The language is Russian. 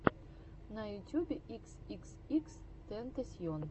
на ютюбе икс икс икс тентасьон